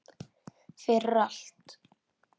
Fyrir allt.